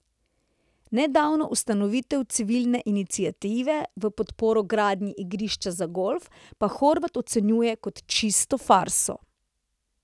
Nedavno ustanovitev civilne iniciative v podporo gradnji igrišča za golf pa Horvat ocenjuje kot čisto farso.